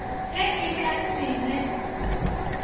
ge e ka se ne